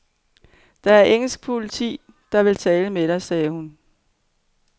Det er engelsk politi, der vil tale med dig, sagde hun.